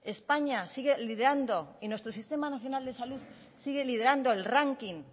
españa sigue liderando y nuestro sistema nacional de salud sigue liderando el ranking